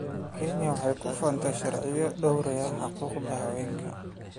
Kenya waxay ku faantaa sharciyo dhowraya xuquuqda haweenka.